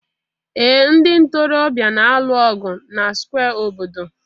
ee ndị ntorobịa na-alụ ọgụ na square obodo